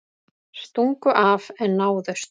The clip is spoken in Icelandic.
Stungu af en náðust